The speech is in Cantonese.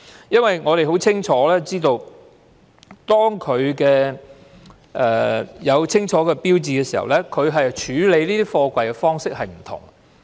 因為我們知道，當貨櫃有清楚的標記時，處理貨櫃的方式會有所不同。